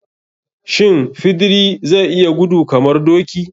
Shin fidiri zai yi gudu kamar doki?